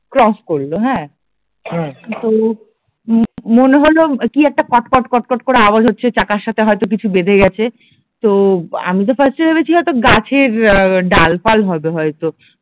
cross করলো হ্যাঁ হম তো মনে হল কি একটা কট কটকট কট করে আওয়াজ হচ্ছে যে চাকার সাথে কিছু হয় তো বেঁধে গেছে, তো আমি তো ফার্স্টে ভেবেছি হয়তো গাছের ডাল ফাল হবে হয়তো